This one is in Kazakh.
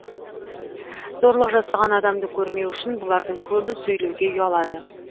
зорлық жасаған адамды көрмеу үшін бұлардың көбі сөйлеуге ұялады